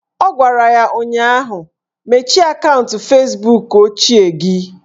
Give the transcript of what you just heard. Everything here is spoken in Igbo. Ọ gwara ya ụnyaahụ "Mechie akaụntụ Fezbuk ochie gị"!